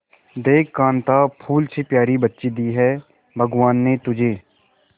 देख कांता फूल से प्यारी बच्ची दी है भगवान ने तुझे